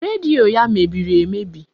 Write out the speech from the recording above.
Redio ya mebiri emebi